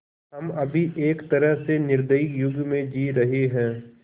हम अभी एक तरह से निर्दयी युग में जी रहे हैं